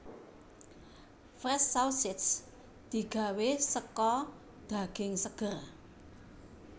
Fresh Sausage digawé saka daging seger